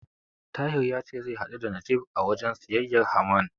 Tahir ya ce zai hadu da Najeeb a wajen siyayyar Haman.